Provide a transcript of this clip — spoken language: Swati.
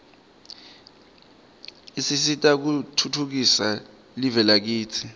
usita kutfutfukisa live lakitsi